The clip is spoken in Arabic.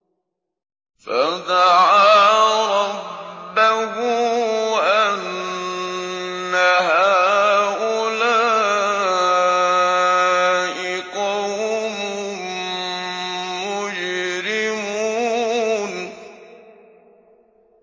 فَدَعَا رَبَّهُ أَنَّ هَٰؤُلَاءِ قَوْمٌ مُّجْرِمُونَ